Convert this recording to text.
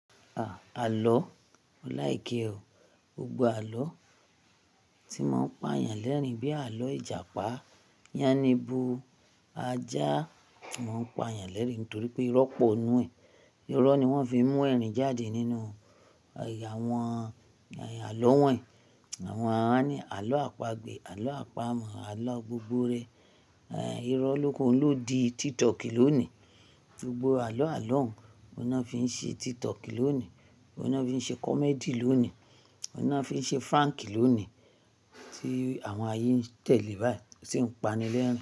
À, àlọ́? Mọ́ láìké o. Gbogbo àlọ́ tí wọ́n pa yàn lẹ́rìn bíi àlọ́ Ìjàpá, Yáníbo, Ajá, wọ́n pa yàn lẹ́rìn nítorí pé irọ́ pọ̀ nínú ẹ̀. Irọ́ ni wọ́n fi ń mú ẹ̀rìn jáde nínú àwọn àlọ́ wọ́nyi. Àwọn àwọn á ní àlọ́ àpagbè, àlọ́ àpamọ̀, àlọ́ gbogbore. Ehn, irọ́ lókun, oun ló di TikTok lónìí. Gbogbo àlọ́ àlọ́ ọ̀ún na fi ń ṣe TikTok lónìí, oun na fi ń ṣe comedy lónìí, oun lo fi ń ṣe prank lónìí tí àwọn ayé ń tẹ̀lé báyìí, sì ń pani lẹ́rìn-ín.